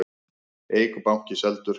Eik banki seldur